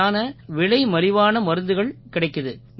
சரியான விலைமலிவான மருந்துகள் கிடைக்குது